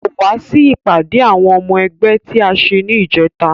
Kò wá sí ìpàdé àwọn ọmọ ẹgbẹ́ tí a ṣe ní ìjẹta